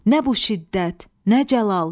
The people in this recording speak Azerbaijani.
Nə bu şiddət, nə cəlal!